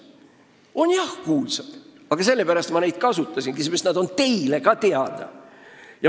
On jah kuulsad, aga sellepärast ma neid kasutasingi – need on teile ka teada.